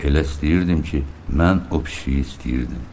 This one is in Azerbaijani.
Elə istəyirdim ki, mən o pişiyi istəyirdim.